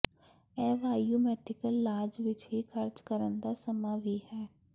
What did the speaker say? ਇਹ ਵਾਯੂਮੈਥਿਕਲ ਲਾਜ ਵਿੱਚ ਹੀ ਖਰਚ ਕਰਨ ਦਾ ਸਮਾਂ ਵੀ ਹੈ